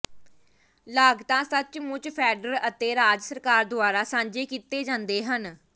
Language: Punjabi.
ਲਾਗਤਾਂ ਸੱਚਮੁੱਚ ਫੈਡਰਲ ਅਤੇ ਰਾਜ ਸਰਕਾਰ ਦੁਆਰਾ ਸਾਂਝੇ ਕੀਤੇ ਜਾਂਦੇ ਹਨ